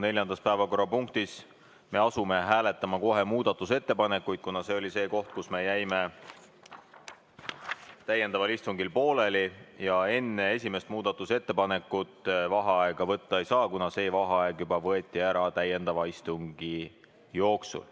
Neljandas päevakorrapunktis me asume kohe muudatusettepanekuid hääletama, kuna see oli see koht, kus me jäime täiendaval istungil pooleli ja enne esimest muudatusettepanekut vaheaega võtta ei saa, kuna see vaheaeg võeti täiendava istungi jooksul.